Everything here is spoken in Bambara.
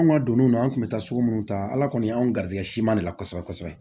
An ka donnw na an kun bɛ taa sugu munnu ta ala kɔni y'an garijɛgɛ siman de la kosɛbɛ kosɛbɛ